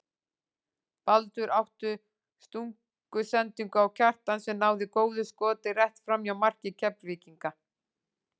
Baldur átti stungusendingu á Kjartan sem náði góðu skoti rétt framhjá marki Keflvíkinga.